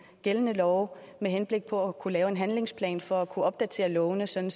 gældende love med henblik på at kunne lave en handlingsplan for at kunne opdatere lovene sådan